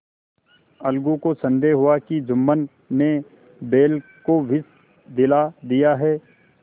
अलगू को संदेह हुआ कि जुम्मन ने बैल को विष दिला दिया है